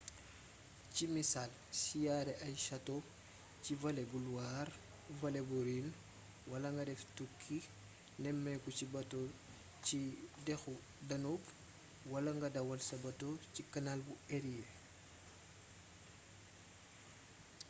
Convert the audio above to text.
ci misaal siyaare ay château ci vallé bu loire vallée bu rhin wala nga def tukki nemmeeku ci bato ci dexu danube wala nga dawal sa bateau ci canal bu érié